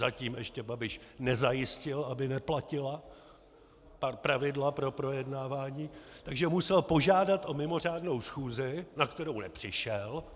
Zatím ještě Babiš nezajistil, aby neplatila pravidla pro projednávání, takže musel požádat o mimořádnou schůzi, na kterou nepřišel.